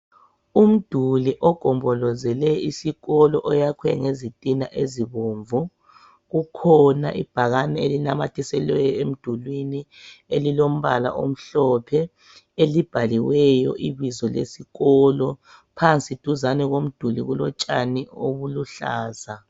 Umduli ogombolozele isikolo oyakhwe ngezitina ezibomvu kukhona ibhakane elinamathiselwe emdulwini elilombala omhlophe elibhaliweyo ibizo lesikolo phansi duzane komduli kulotshani obuluhlaza.